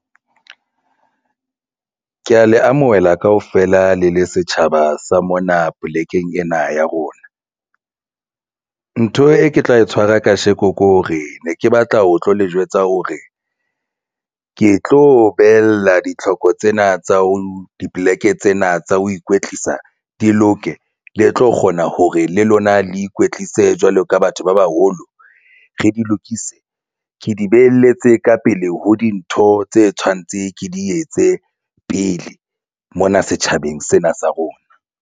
Ke ya le amohela kaofela le le setjhaba sa mona polekeng ena ya rona. Ntho e ke tla e tshwara kasheko ke hore ne ke batla ho tlo le jwetsa hore ke tlo behella ditlhoko tsena tsa ho dipoleke tsena tsa ho ikwetlisa di loke le tlo kgona hore le lona le ikwetlise jwalo ka batho ba bang haholo re di lokise ke di beheletse ka pele ho dintho tse tshwantse ke di etse pele mona setjhabeng sena sa rona.